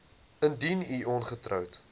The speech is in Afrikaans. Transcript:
indien u ongetroud